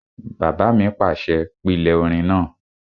Bàbá mi pàṣẹ, "pílè orin náà!"